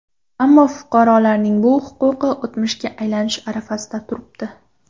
Ammo fuqarolarning bu huquqi o‘tmishga aylanish arafasida turibdi.